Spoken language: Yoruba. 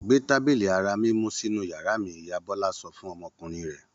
Gbé tábìlì ara mímú sínú ìyàrá mi! Ìyá Bọ́lá sọ fún ọmọkùnrin rẹ̀.